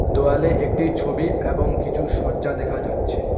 দোয়ালে একটি ছবি এবং কিছু শয্যা দেখা যাচ্ছে।